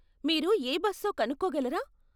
మీరు ఏ బస్సో కనుక్కోగలరా?